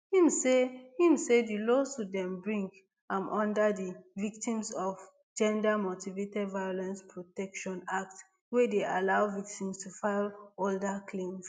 im say im say di lawsuits dem bring am under di victims of gendermotivated violence protection act wey dey allows victims to file older claims